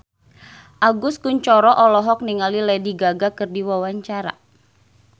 Agus Kuncoro olohok ningali Lady Gaga keur diwawancara